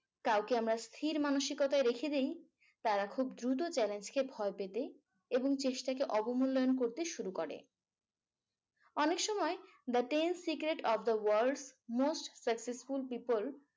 কাউকে আমরা স্থীর মানসিকতায় রেখে দেই তারা খুব দ্রুত challenge কে ভয় পেতে এবং চেষ্টাকে অবমূল্যায়ন করতে শুরু করে। অনেক সময় the secret of the world most successful people